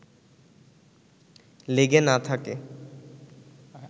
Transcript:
লেগে না থাকে